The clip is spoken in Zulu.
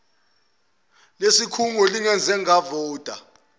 lesikhungo lingeze lavota